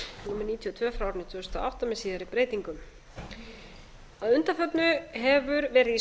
tvö tvö þúsund og átta með síðari breytingum að undanförnu fær verið í